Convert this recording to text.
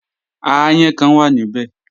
Aáyán kan wà níbẹ̀